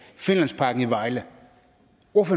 finlandsparken i vejle